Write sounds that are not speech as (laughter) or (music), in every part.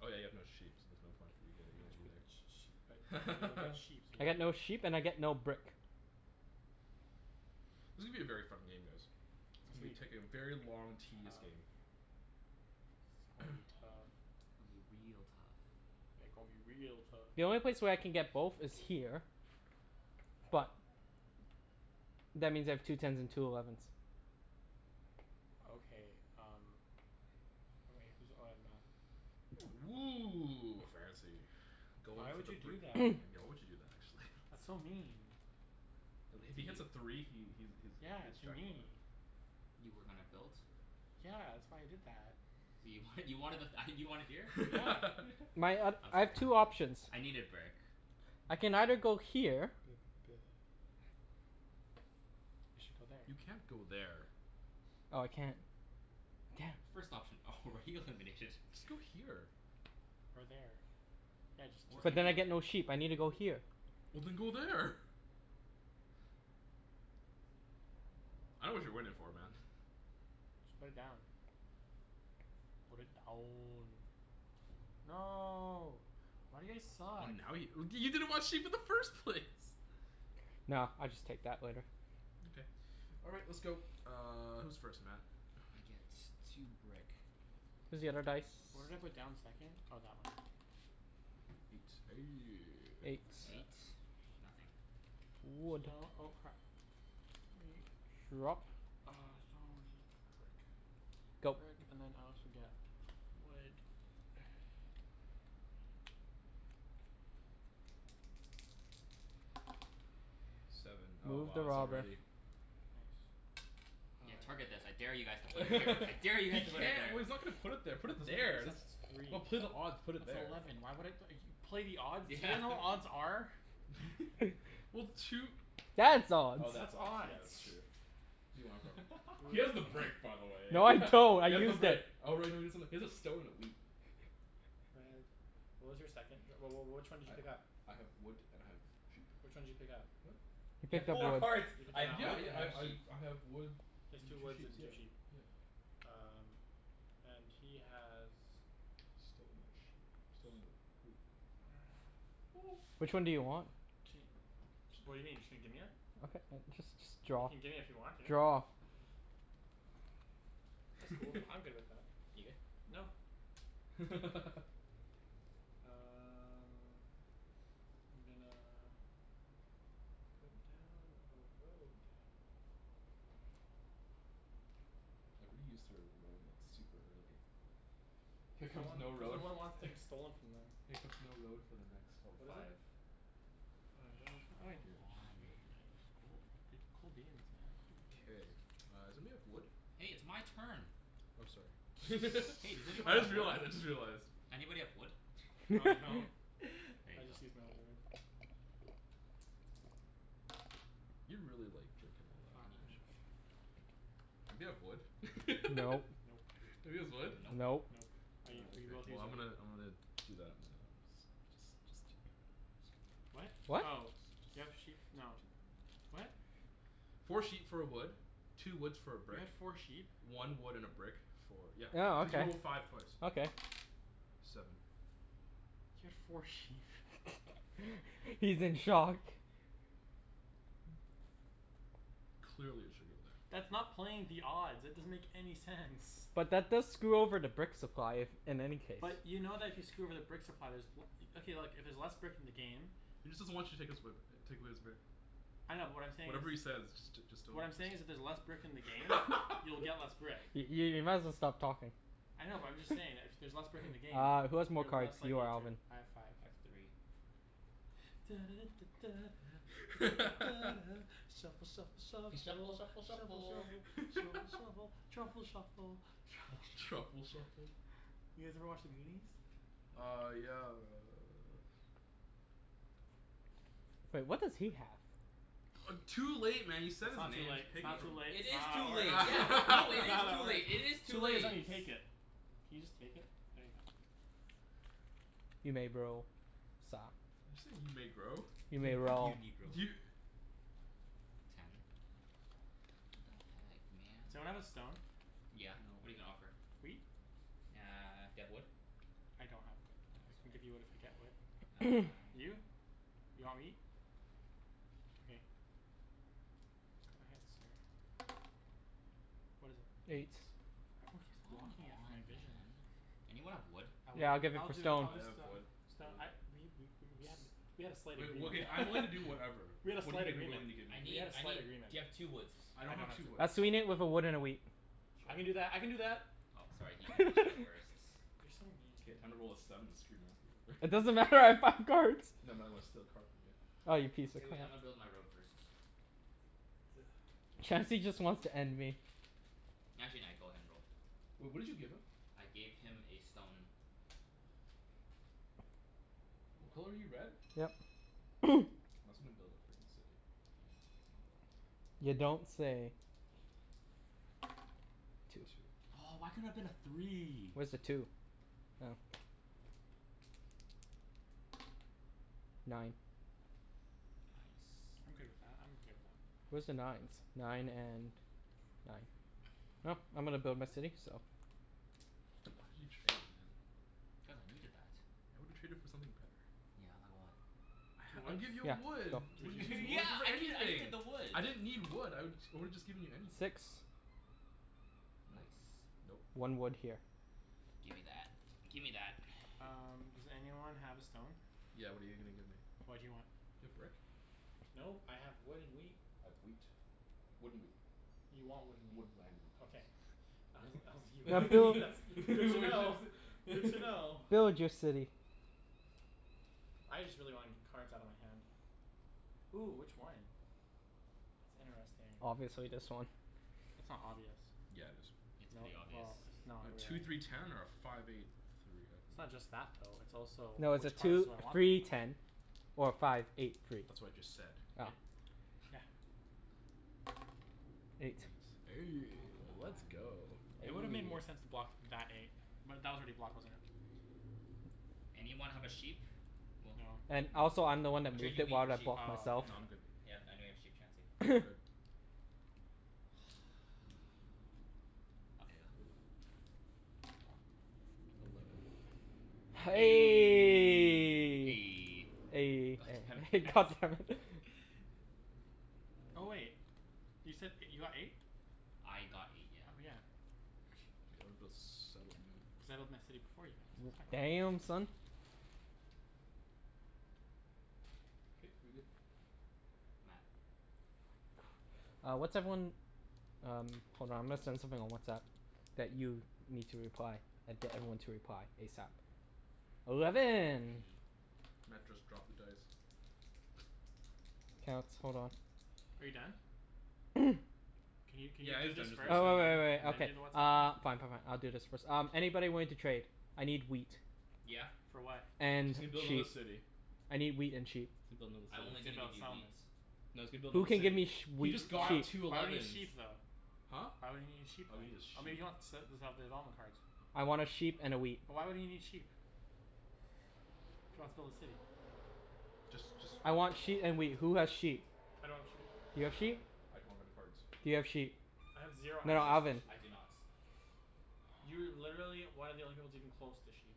Oh yeah, you have no sheep, so there's no point for you But y- getting but y- that Oh. y- either. but you'll get (laughs) sheep, so you I get can do no sheep that. and I get no brick. This is gonna be a very fun game guys. It's gonna be It's taking a very gonna long be tedious game. tough. It's gonna be (noise) tough. Gonna be real tough. Yeah, gon' be real tough. The only place where I can get both is here. But that means I have two tens and two elevens. Okay um Oh wait, who's, oh yeah Matt. Woo, fancy. Goin' Why for would the you brick do that? (noise) (noise) Why would you do that actually? That's so mean. Uh if To he hits you? a three he he's he Yeah, hits to jackpot. me. You were gonna build? Yeah, that's why I did that. You wanted, you wanted the th- ah you wanted here? Yeah. (laughs) My um, (laughs) I'm I have sorry. two options. I needed brick. I can either go here. (noise) You should go there. You can't go there. Oh I can't. Damn. First option already eliminated. Just go here. Or there. Yeah, just Or But just then I anywhere. get no sheep. I need to go here. Well then go there. I dunno what you're waiting for man. (laughs) (noise) Just put it down. Put it down. No. Why do you guys Oh suck? now you w- you didn't want sheep in the first place. No, I'll just take that later. Okay. All right, let's go, uh who's first Matt? I get two brick. Here's the other dice. (noise) Where did I put down the second? Oh that one. Eight. Eight (noise) Nothing. Wood. Sto- oh crap. (noise) Drop. Uh stone, wheat, brick. Go. Brick and then I also get wood (noise) Seven. Oh Move the wow, it's robber. already Nice. Yeah, target I this. I dare you guys to put it (laughs) here. I dare you He guys to put it can't, there. well he's not gonna put it there, put That it doesn't make any there. That's sense, it's three. just, put odd, put it That's there. eleven, why would I (noise) play the odds? You Yeah, know what what are you odds are? (laughs) Well two That's odds. Oh That's that's odds, yeah that's odds. true. Who do you want it from? (laughs) He has the Br- brick by the way No (laughs) he I don't, I has the used it. brick. Oh right no you got something, he has a stone and a wheat. Red, what was your second? Wh- wh- which one did you pick up? I I have wood and I have sheep. Which one did you pick up? What? He You You picked have picked up up four that wood. one, cards. you picked "I up have that Yeah wood yeah and one? I I have I sheep." I have wood He has and two two woods and sheeps, yeah two sheep. yeah. Um and he has Stone and sheep. Stone and (noise) a wheat. (noise) (noise) Which one do you want? Ca- what do you mean? Just gonna gimme it? Okay (noise) just just You draw. can gimme if you want to. Draw. That's cool, I'm good with (laughs) that. You good? No. (laughs) Um I'm gonna put down a road. Everybody used their road like super early. Here Cuz no comes one, no cuz no road one wants f- things stolen from them. (noise) here comes no road for the next oh What is it? five. Five. Five uh oh I Come do, on. sweet, cool, goo- cool beans man, cool K, beans. uh somebody have wood? Hey, it's my turn. Oh sorry, (laughs) Hey does (laughs) anyone I just have wood? realized, I just realized. Anybody have wood? No I don't, (laughs) (laughs) There I you go. just used my only wood. You're really like drinkin' all that, Can you aren't Five. you? Anybody have wood? (laughs) Nope. Nope. Nobody has wood? Nope. Nope. Nope. I u- Oh we okay. both Well used our I'm wood. gonna I'm gonna do that and uh (inaudible) What? do do that. What? Oh, do you have sheep, no, what? Four sheep for a wood, two woods for a You brick, had four sheep? one wood and a brick for, yeah, Oh cuz you okay, rolled a five twice. okay. Seven. You had four sheep (laughs) (laughs) He's in shock. Clearly, I should go there. That's not playing the odds. It doesn't make any sense. But that does screw over the brick supply, if, in any case. But you know that if you screw over the brick supply there's w- okay look, if there's less brick in the game He just doesn't want you to take his way b- take away his brick. I know but what I'm saying is Whatever he says just j- just don't What I'm just saying is if there's j- less brick in the game you'll (laughs) get less brick. I- i- you might as well stop talking. I know but I'm just saying that if y- there's less brick in the game Uh who has more you're cards, less you likely or to Alvin? have I five. have three. (noise) shuffle shuffle (laughs) shuffle shuffle F- shuffle shuffle shuffle shuffle shuffle. shuffle (laughs) truffle shuffle truffle Truffle shuffle. Truffle shuffle? (laughs) shuffle? You guys ever watch The Goonies? No. Uh yeah uh Wait, what does he have? Uh too late man you said That's his not too name, late, it's pick it not too from him. late, It it's not is how that too late. works, Yeah, no, it it's not is how (laughs) that too works. late, it is too Too late is when late. you take it. Can you just take it? There you go. You may bro, sa- You say you may grow? You may (laughs) roll. You negro. You Ten. What the heck Someone man? have a stone? Yeah, No. what're you gonna offer? Wheat? Uh do you have wood? I don't have wood. Oh, I can sorry. give you wood if I get wood. (noise) Uh no. You? You want wheat? Okay. Go ahead sir. What is it? Eight. Eight. Everyone keeps Come blocking it from on my vision. man. Anyone have wood? I would, Yeah, I'll give it I'll for do, stone. I'll I just have uh, wood, stone wheat. I we we w- w- we had a slight Wait, well agreement okay, I'm willing to do (laughs) whatever. We had a What are you slight gonna be agreement, willing to give me? I we need, had a I slight need, agreement. do you have two woods? I I don't don't have have two two wood. woods. I'll sweeten it with a wood and a wheat. I can do Sure. that, I can do that. Oh sorry, he he beat you out first. (laughs) You're so mean. K, time to roll a seven and screw Matthew It over. (laughs) doesn't matter, I have five cards. No Matt, I wanna steal a card from you. Ah, you piece (noise) K of wait, crap. I'ma build my road first. (noise) K. Chancey just wants to end me. Actually nah, go ahead and roll. Wait, what did you give him? I gave him a stone. What color are you, red? Yep. (noise) Matt's gonna build a frickin' city. (noise) Can I go in You here? No. don't say. Two twos. Two. Two. Oh why couldn't it have been a three? Where's the two? Oh. Nine. Nice. I'm good with that, I'm okay with that. Where's the nines? Nine and nine. (noise) I'm gonna build my city, so Why did you trade, man? Cuz I needed that. I would've traded for something better. Yeah, like what? Two (noise) I'd woods? give you Yeah, a wood. go. (inaudible) two What did (laughs) you need, you Yeah woods? could get I needed, I needed anything. the wood. I didn't need wood, I would I woulda just given you anything. Six. Nope, Nice. nope. One wood here. Gimme that, gimme that Um (noise) does anyone have a stone? Yeah what are you gonna give me? What do you want? Do you have brick? Nope, I have wood and wheat. I have wheat. Wood and wheat. You want wood and Wood wheat. (inaudible) Okay. please. (laughs) I was, I was, you (laughs) What have wheat, (noise) that's that's did good you to know. wanna Good say to know. (laughs) Build your city. I just really wanna get cards outta my hand. Ooh, which one? That's interesting. Obviously this one. That's not obvious. Yeah it is. It's No, pretty obvious. well, it's not (noise) Two really. three ten or a five eight three, It's not okay just that though, it's also No, it's a which cards two do I want the three most? ten or a five eight three. That's what I just said. Oh. Yeah. Eight. Eight Aw come (noise) on. let's go. It would've made more sense to block that eight. But that was already blocked, wasn't it? Anyone have a sheep? Well No. And also I'm the No. one I'll that trade moved you it, wheat why for did I sheep. block Oh, myself? No, I'ma, I'm good. okay. yeah I know you have sheep Chancey. I'm good. (noise) (noise) Okay, go. Eleven. (noise) (laughs) God (noise) God damn it hex. (laughs) damn it (laughs) Oh wait, you said (noise) you got eight? I got eight, yeah. Oh yeah. K I wanna build settlement. Settled my city before you, Matt, so it's fine. Damn, son. K, we good. Matt. Uh what's everyone, um hold on I'm gonna send something on WhatsApp. That you need to reply. That d- everyone to reply, ASAP. Eleven. (noise) Matt just dropped the dice. K let's, hold on. Are you done? (noise) Can you can you Yeah he do is this done, Uh just first uh re-roll. and wai- wai- then wai- and then okay. do the WhatsApp Uh. thing? Fine fine (laughs) fine, I'll do this first. Um Anybody willing to trade? I need wheat. Yeah. For what? And And he's gonna build another sheep. city. I need wheat and sheep. He's gonna build I'm another No, only he's city. gonna gonna build give a you wheat. settlement. No, he's gonna build Who another can give me city. sh- He wheat just Why would, got sheep? two why would he need elevens. sheep though? Huh? Why would he need sheep Oh then? he need a Oh maybe sheep. he wants (inaudible) development cards. I wanna sheep and a wheat. But why would he need sheep? If he wants to build a city? Just just I want (noise) sheet and wheat. Who has sheep? I don't have sheep. You have sheep? I don't have any cards. Do you have sheep? I have zero No no, No. access to Alvin. I do sheep. not. You're literally one of the only people that's even close to sheep.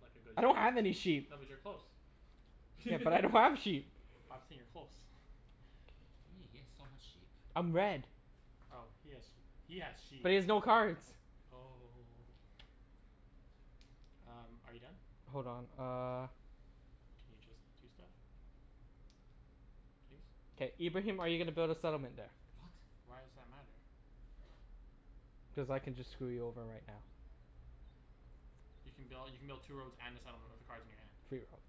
Like a good I don't have any sheep. sheep. No, but you're close. Yeah, but I don't (laughs) have sheep. But I'm saying you're close (laughs) What do you mean? He has so much sheep. I'm red. Oh he has sheep. He has sheep. But he has no cards. Oh Um, are you done? Hold on, uh. Can you just do stuff? Please? K, Ibrahim are you gonna build a settlement there? What? Why does that matter? Cuz I can just screw you over right now. You can build, you can build two roads and a settlement with the cards in your hand. Three roads.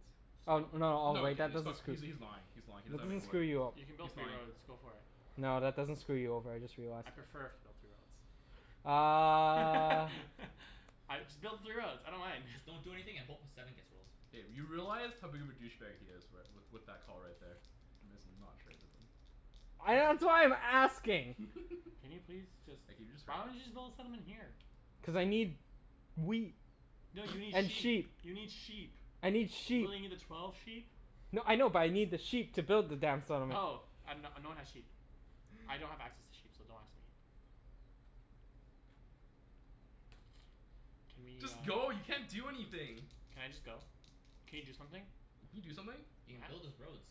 Oh So? no, oh No he wait, can't, that he's fuck- doesn't , screw he's he's lying, he's lying, he That doesn't have doesn't any wood. screw you o- You can He's build three lying. roads. Go for it. No, that doesn't screw you over, I just realized. I'd prefer if you built three Uh roads. (laughs) (noise) I, just build the three roads, I don't mind. Just don't do (laughs) anything a hope a seven gets rolled. K, you realize how big of a douche bag he is right, with with that call right there. You may as well not trade with him. I, that's (noise) why I'm asking. Can (laughs) you please just, Like can you just hurry why don't you up? just build a settlement here? Cuz I need wheat No you (noise) need and sheep sheep. You need sheep. I need sheep. Will you need a twelve sheep? No, I know but I need the sheep to build the damn settlement. Oh. I have, no no one has sheep. I don't have access to sheep so don't ask me. Can we Just uh go, you can't do anything. Can I just go? Can you do something? Can you do something? He can build Matt? his roads.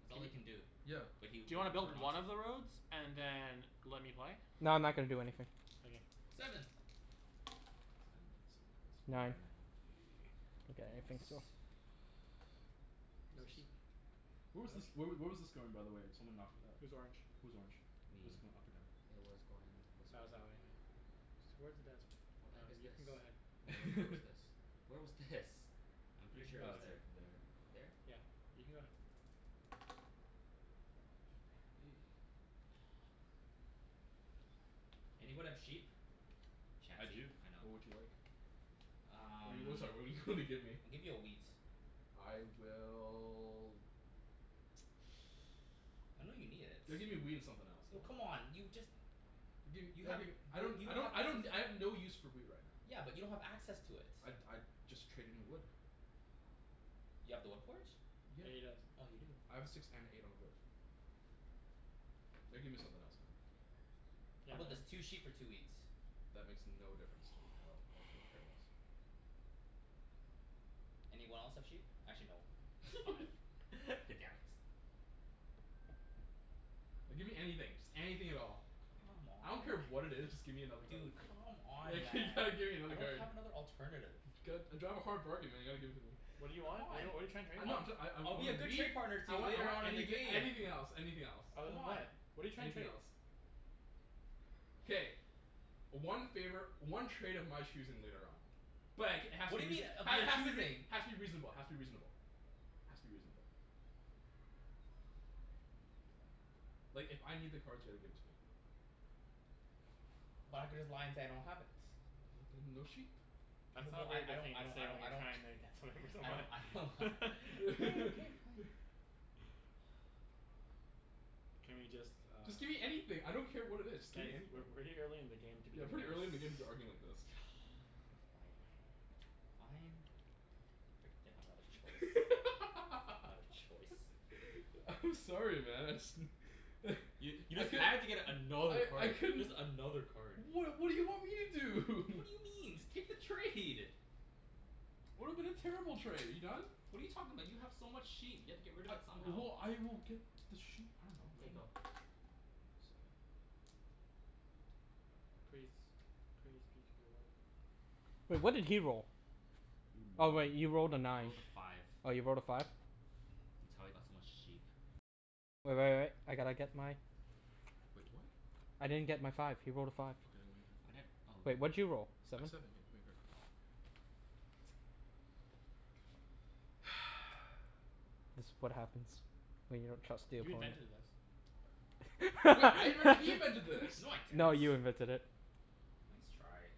That's all he (noise) can do. B- Yeah. but he Do would you wanna build prefer one not to. of the roads and then let me play? No, I'm not gonna do anything. Okay. Seven. Sand bun some of the cards. Nine. Nine. Nine. Okay, (noise) I think so. (noise) No sheep. (inaudible) Where was No this, where w- sheep. where was this going by the way? Someone knocked it up. Who's orange? Who's orange? Me. Was it going up or down? It was going this way. That was that way, yeah. Towards the desert. What the heck Um, is you this? can go Where ahead. wa- where was this? (laughs) Where was this? I'm You pretty can sure go it Oh was it's ahead. there. like there. There? Yeah. You can go ahead. Hey. Fuck. Anybody have sheep? I Chancey. do, I know. what would you like? What do Um you, sorry what do you wanna give me? I'll give you a wheat. I will I know you need it. (noise) Gotta give me a wheat and something else Oh man. come on. You just Dude You have w- okay, I y- don't you I don't don't have I access don't, I have no use for wheat right now. Yeah, but you don't have access to it. I'd I'd just trade in wood. You have the wood port? Yeah. Yeah, he does. Oh you do. I have a six and an eight on a wood. Gotta give me something else man. Yeah How 'bout man. this? Two sheep for two wheat. That makes no difference to me at all. I couldn't care less. Anyone else have sheep? Actually no, five. (laughs) (laughs) Damn it. No, give me anything, (noise) just anything at all. Come I on don't man. care what it is, just give me another card. Dude, come on Like (laughs) man, you gotta give me I another don't card. have another alternative. (noise) I drive a hard bargain man you gotta give it to me. What do you want? What're you, C'mon. what are you tryin' to trade? No I'm, I'm try- I I I I'll be want a a good wheat. trade partner to I you want I later want on in the anything game. anything else anything else. Other Come than on. that, what're you trying to Anything trade? else. K. (noise) One favor, one trade of my choosing later on. But it k- it has What to be do you mean reaso- of ha- your has to be rea- choosing? has to be reasonable has to be reasonable. Has to be reasonable. Like if I need the cards you gotta give it to me. But I could just lie and say I don't have it. Well then no sheep. That's not a Well, I very I good don't thing I to don't say when I you're don't trying to (noise) get something from I don't I don't ha- someone (laughs) (laughs) K, okay fine. (laughs) (noise) Can we just uh Just give me anything, I don't care what it is, just Guys, gimme we're anything. way early in the game to be Yeah, doing this pretty early in the game to (laughs) be arguing like this. (noise) Fine. fine. Frickin' didn't have another choice. Another choice. (laughs) I'm sorry man, I just (laughs) You you I just could had to get another I I card. couldn't Just another card. What what do you want me to do? What do (laughs) you mean? Just take the trade. Would've been a terrible trade. Are you done? What are you talking about? You have so much sheep. You have to get rid of it somehow. Well, I will get the sheep, I dunno K, man. go. Seven. Praise. Praise be to the lord. Wait, what did he roll? Oh wait, he You're a moron. rolled a I nine. rolled a five. Oh you rolled a five? That's how he got so much sheep. Wait what? I didn't get my five. He rolled a five. Okay then I I'm right here. didn't oh Wait, what did you roll? (inaudible) A Seven? seven, here, give me a card. (noise) (noise) This what happens when you don't trust the You opponent. invented this. What, I (laughs) invented, he invented this. No I didn't. No, you invented it. Nice try.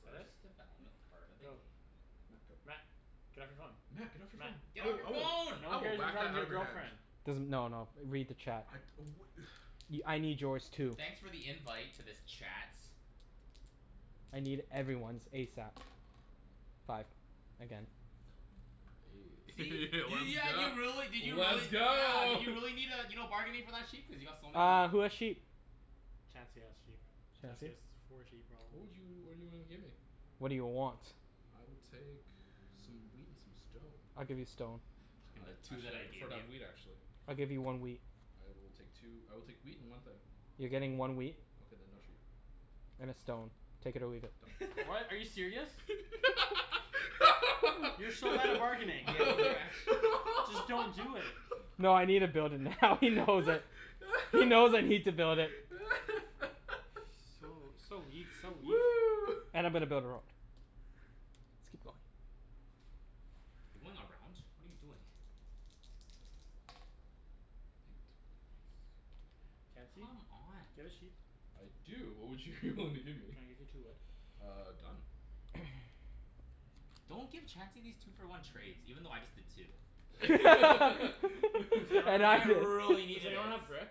Fret? First development Yep. card of the Go. game. Matt, go. Matt. Get off your phone. Matt get off your Matt. phone. I Get off will your I will phone. No I one will cares you're whack that talking to out of your your hand. girlfriend. Doesn- no no, read the chat. I'd oh wha- (noise) Y- I need yours too. Thanks for the invite to this chat. I need everyone's ASAP. Five. Again. (noise) (laughs) Let's See? You, yeah go, you really, did you really let's yeah, go did you need uh you're not bargaining for that sheep? Cuz you got so many. Uh, who has sheep? Chancey has sheep. Chancey Chancey? has four sheep What probably. would you, what do you wanna give me? What do you want? I will take some wheat and some stone. I'll give you stone. Fuckin' Uh the two that actually I I'd gave prefer to have wheat you. actually. I'll give you one wheat. I will take two, I will take wheat and one thing. You're getting one wheat. Okay then no sheep. And a stone. Take it or leave it. Done. What, are (laughs) you serious? You're so bad at bargaining. Yeah, you're actu- Just don't do it. (laughs) No I needa build it now (laughs) he knows it. He knows I need to build it. So, (laughs) so weak, (noise) so weak. (noise) And I'm gonna build a road. Let's keep going. You're going around? What are you doing? Eight. Chancey? Do you Come on. have a sheep? I do. What would you wanna give me? Can I give you two wood? Uh done. (noise) Don't give Chancey these two for one trades, even though I just did too. Does Cuz (laughs) anyone (laughs) And have I I (noise) really a, does needed it. anyone have brick?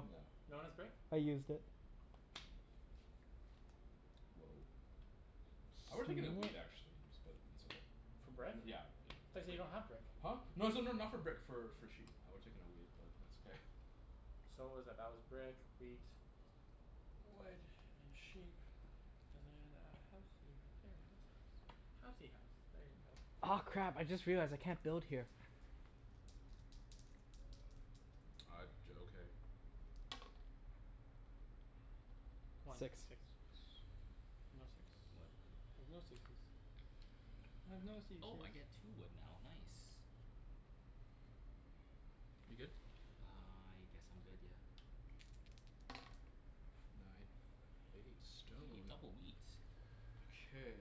No. No one has brick? I used it. Whoa. I would've taken a wheat (noise) actually, but it's okay. For brick? (noise) I Yeah, yeah. thought you said you don't have brick. Huh? No it's not not for brick for for sheep, I would have taken a wheat but it's okay. So what was that? That was brick, wheat. Wood and sheep. And then a housey right there. Housey house. Housey house. There you go. Aw crap, I just realized I can't build here. Uh d- okay. One. Six. Six. No six. Wood. I have no sixes. I have no Oh I seizures. get two wood now, nice. You good? I guess I'm good, yeah. Nine, hey, Hey, stone. double wheat. Okay.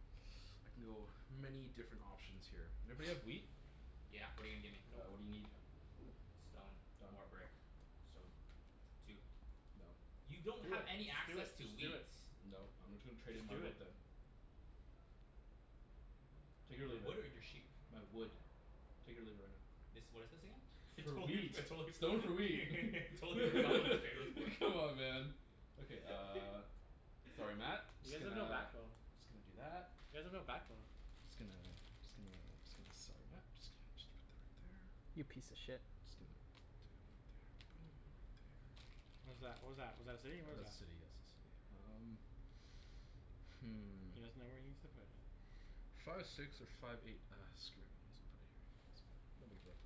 (noise) I can go many different options here. Everybody have wheat? Yeah, what're you gonna give me? Uh what do you Nope. need? Stone Done. or brick. Stone. Two. Nope. You Do it, don't have any just do it, access to just do wheat. it. Nope, I'm gonna tra- trade in Just my do wood it. then. Take it or Your leave it. wood or your sheep? My wood. Take it or leave it right now. This, what is this again? (laughs) I For totally forg- wheat. Stone for wheat (laughs) (laughs) I totally forgot what this trade was for. Come on man. Okay uh, sorry Matt, (laughs) You Just guys have gonna, no just backbone. gonna do that. You guys have no backbone. Just gonna just gonna just gonna, sorry Matt, just gonna put that right there. You piece of shit. Just gonna do it right there (noise) right there. What is that? What was that? Was that a city? What That's was a that? city, yes, a city. Um (noise) Hmm. He doesn't know where he needs to put it. Five six or five eight, ah screw it, I guess I'ma put it here. Guess I'm gonna, no big deal.